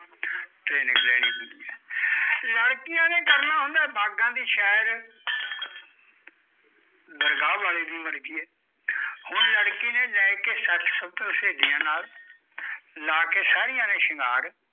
ਲੜਕੀਆਂ ਨੇ ਕਰਨਾ ਹੁੰਦੀਆਂ ਬਾਗਾਂ ਦੀ ਸੈਰ ਦਰਗਾਹ ਆਲੇ ਦਿਨ ਹੁਣ ਲੜਕੀਆਂ ਨੇ ਲੈ ਕੇ ਸੱਤ ਸ਼ਤਰ ਸੇਹਲੀਆਂ ਨਾਲ ਲਾਕੇ ਸਾਰੀਆਂ ਨੇ ਸ਼ਿੰਗਾਰ